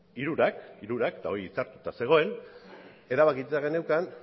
hirurak hirurak eta hori itzartuta zegoen erabakita geneukan